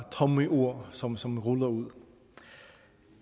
tomme ord som som ruller ud